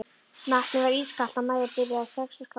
Vatnið var ískalt og Maja byrjaði strax að skjálfa.